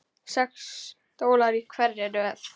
Sex stólar í hverri röð.